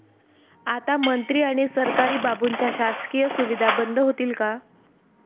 आता मंत्री आणि सरकारी बाबूंच्या शासकीय सुविधा बंद होतील का?